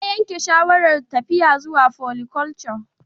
Ya yanke shawarar tafiya zuwa foliculture